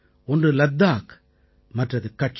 ஒன்று லத்தாக் மற்றது கட்ச்